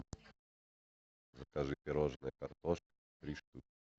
закажи пирожное картошка три штуки